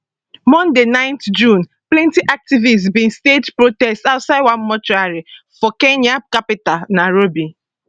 monday 9 june plenty activists bin stage protest outside one mortuary for kenya capital nairobi